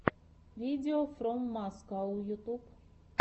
видеофроммаскау ютьюб